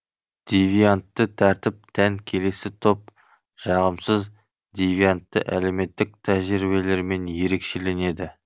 девиантты тәртіп тән келесі топ жағымсыз девиантты әлеуметтік тәжірибелерімен ерекшеленеді